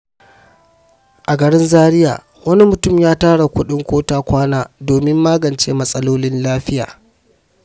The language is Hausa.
A garin Zariya, wani mutum ya tara kuɗin ko-ta-kwana domin magance matsalolin lafiya.